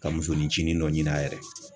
Ka musoni cini dɔ ɲini a yɛrɛ ye